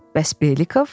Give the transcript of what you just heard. Bəs Belikov?